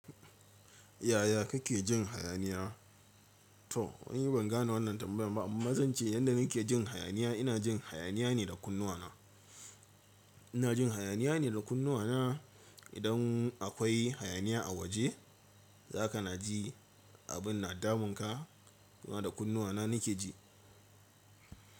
Yaya kake jin hayaniya? To, ni bangane wannan tambayar ba, amma zance yadda nake jin hayaniya, ina jin hayaniya ne da kunnuwana. Ina jin hayaniya ne da kunnuwana. Idan akwai hayaniya a waje, za ka na ji abin na damunka kuma da kunnuwana kike ji.